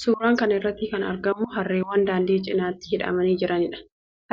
Suuraa kana irratti kan argamu harreewwan daandii cinatti hidhamanii jiraniidha.